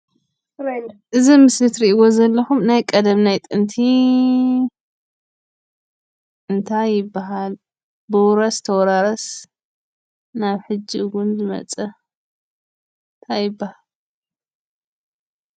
እዙይ ኣብ ምስሊ እትርእይዎ ዘለኩም ናይ ቀደም ናይ ጥንቲ እንታይ ይባሃል? ብውረስ ተወራረስ ናብ ሕጂ እውን ዝመፀ እንታይ ይባሃል?